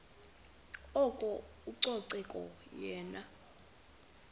oko ucoceko yenye